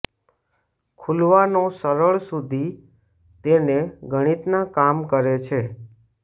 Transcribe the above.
ખુલવાનો સરળ સુધી તેને ગણિતના કામ કરે છે